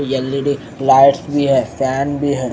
L E D lights भी है fan भी है।